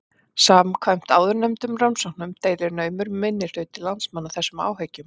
Samkvæmt áðurnefndum rannsóknum deilir naumur minnihluti landsmanna þessum áhyggjum.